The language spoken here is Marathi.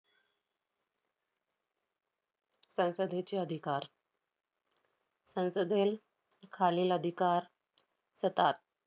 संसदेचे अधिकार. संसदेत खालील अधिकार सतात.